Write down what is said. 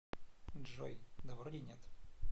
джой да вроде нет